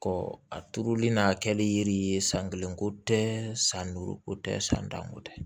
a turuli n'a kɛli yiri ye san kelen ko tɛ san duuru ko tɛ san tan ko tɛ